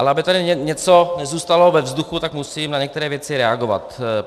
Ale aby tady něco nezůstalo ve vzduchu, tak musím na některé věci reagovat.